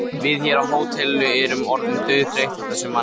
Við hér á hótelinu erum orðin dauðþreytt á þessum manni.